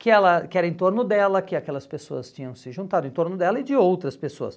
que ela que era em torno dela, que aquelas pessoas tinham se juntado em torno dela e de outras pessoas.